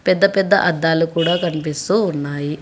పెద్ద పెద్ద అద్దాలు కూడా కనిపిస్తూ ఉన్నాయి.